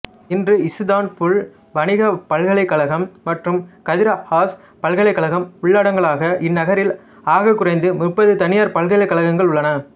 இன்று இசுதான்புல் வணிகப் பல்கலைக்கழகம் மற்றும் கதிர் ஹாஸ் பல்கலைக்கழகம் உள்ளடங்கலாக இந்நகரில் ஆகக்குறைந்தது முப்பது தனியார் பல்கலைக்கழகங்கள் உள்ளன